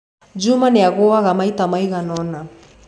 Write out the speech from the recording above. Juma nĩ aagũaga maita maigana ũna.